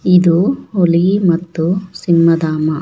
ಇದು ಹುಲಿ ಮತ್ತು ಸಿಂಹ ಧಾಮ.